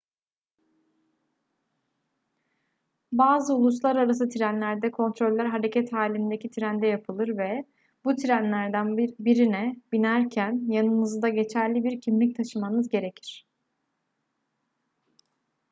bazı uluslararası trenlerde kontroller hareket halindeki trende yapılır ve bu trenlerden birine binerken yanınızda geçerli bir kimlik taşımanız gerekir